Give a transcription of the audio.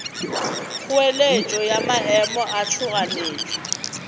kgoeletšo ya maemo a tšhoganetšo